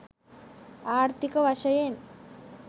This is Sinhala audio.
ආර්ථීක වශයෙන්